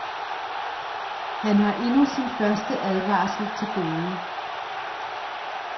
Han har endnu sin første advarsel til gode.